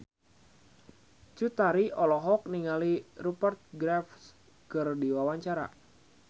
Cut Tari olohok ningali Rupert Graves keur diwawancara